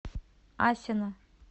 асино